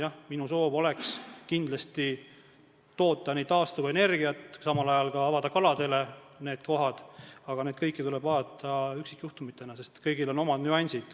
Jah, minu soov oleks kindlasti toota taastuvenergiat ja samal ajal avada need kohad kaladele, aga kõiki neid asju tuleb vaadata üksikjuhtumitena, sest kõigil on omad nüansid.